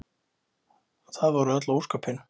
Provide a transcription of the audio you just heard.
Það voru öll ósköpin.